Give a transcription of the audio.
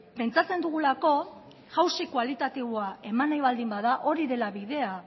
pentsatzen dugulako jauzi kualitatiboa eman nahi baldin bada hori dela bidea